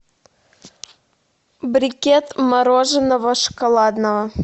брикет мороженого шоколадного